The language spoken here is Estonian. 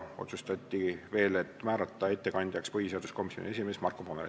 Otsustati veel, et ettekande teeb põhiseaduskomisjoni esimees Marko Pomerants.